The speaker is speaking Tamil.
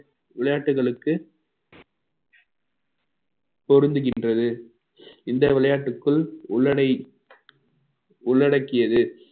விளையாட்டுகளுக்கு பொருந்துகின்றது இந்த விளையாட்டுக்குள் உள்ளடை~ உள்ளடக்கியது